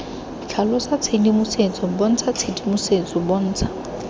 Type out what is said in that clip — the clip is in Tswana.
tlhalosa tshedimosetso bontsha tshedimosetso bontsha